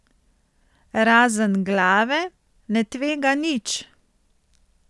Razen glave ne tvega nič.